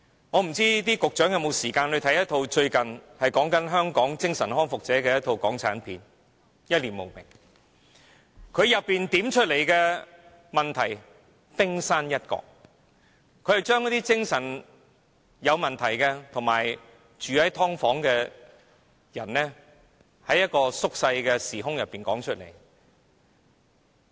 我不知道局長有否時間看看最近一齣關於香港精神康復者的港產片"一念無明"，當中點出的只是問題的冰山一角，電影把精神有問題和住在"劏房"的人在一個縮小的時空中道出來。